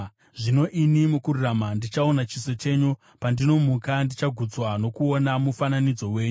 Zvino ini mukururama, ndichaona chiso chenyu; pandinomuka, ndichagutswa nokuona mufananidzo wenyu.